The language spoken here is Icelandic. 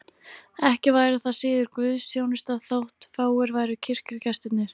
Ekki væri það síður guðsþjónusta þótt fáir væru kirkjugestirnir.